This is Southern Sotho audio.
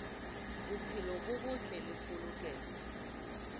bophelo bo botle le polokeho